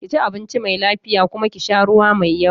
Ki ci abinci mai lafiya kuma ki sha ruwa mai yawa.